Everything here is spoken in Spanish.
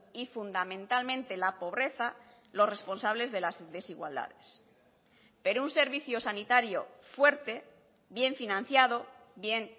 y fundamentalmente la pobreza los responsables de las desigualdades pero un servicio sanitario fuerte bien financiado bien